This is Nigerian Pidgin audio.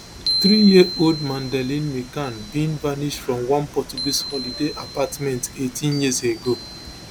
threeyearold madeleine mccann bin vanish from one portuguese holiday apartment eighteen years ago